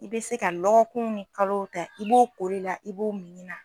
I bɛ se ka lɔgɔkunw ni kalow ta i b'o kolila i b'o minina